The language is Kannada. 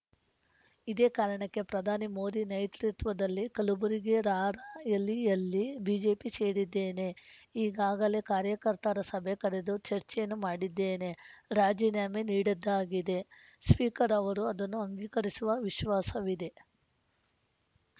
ಇದೇ ಕಾರಣಕ್ಕೆ ಪ್ರಧಾನಿ ಮೋದಿ ನೇತೃತ್ವದಲ್ಲಿ ಕಲಬುರಗಿ ರಾರ‍ಯ ಯಲಿಯಲ್ಲಿ ಬಿಜೆಪಿ ಸೇರುತ್ತಿದ್ದೇನೆ ಈಗಾಗಲೇ ಕಾರ್ಯಕರ್ತರ ಸಭೆ ಕರೆದು ಚರ್ಚೆಯನ್ನೂ ಮಾಡಿದ್ದೇನೆ ರಾಜೀನಾಮೆ ನೀಡಿದ್ದಾಗಿದೆ ಸ್ಪೀಕರ್‌ ಅವರು ಅದನ್ನು ಅಂಗೀಕರಿಸುವ ವಿಶ್ವಾಸವಿದೆ